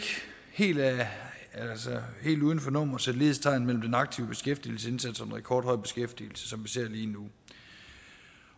helt uden for nummer sætte lighedstegn mellem den aktive beskæftigelsesindsats og den rekordhøje beskæftigelse som vi ser lige nu